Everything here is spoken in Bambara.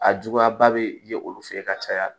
A juguya ba bɛ ye olu fɛ yen ka caya